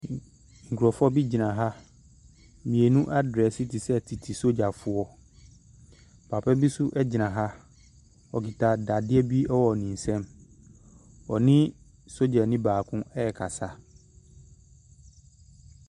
Nkurɔfoɔ bi gyina ha. Mmienu adrɛse te sɛ tete sogyafoɔ. Papa bi nso gyina ha. Ɔkita dadeɛ bi wɔ ne nsam. Ɔne sogyani baako rekasa.